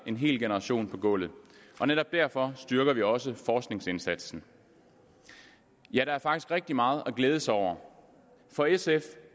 en hel generation på gulvet og netop derfor styrker vi også forskningsindsatsen ja der er faktisk rigtig meget at glæde sig over for sf